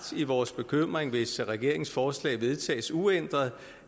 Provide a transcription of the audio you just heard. i vores bekymring hvis regeringens forslag vedtages uændret